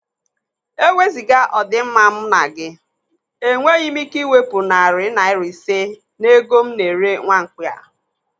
Eweziga ọdi mma m na gị, enweghị me ike iwepụ narị naira ise n'ego m na-ere nwamkpi a.